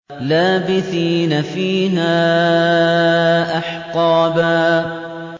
لَّابِثِينَ فِيهَا أَحْقَابًا